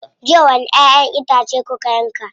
Jiya wani ƴaʼƴen itace kuka yanka.